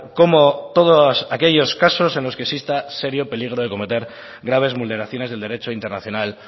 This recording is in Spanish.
como todos aquellos casos en los que exista serio peligro de cometer graves vulneraciones del derecho internacional